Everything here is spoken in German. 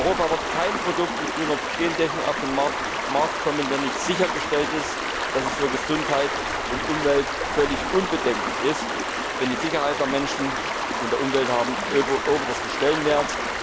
In Europa wird kein Produkt mit grüner Gentechnik auf den Markt kommen, wenn nicht sichergestellt ist, dass es für Gesundheit und Umwelt völlig unbedenklich ist, denn die Sicherheit der Menschen und der Umwelt haben obersten Stellenwert.